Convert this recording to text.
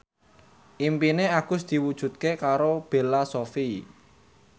impine Agus diwujudke karo Bella Shofie